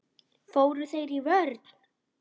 Fóru þeir í vörn?